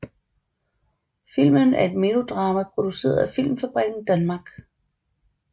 Filmen er et melodrama produceret af Filmfabriken Danmark